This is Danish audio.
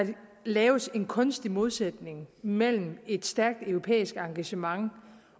laves en kunstig modsætning mellem et stærkt europæisk engagement